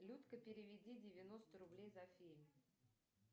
людка переведи девяносто рублей за фильм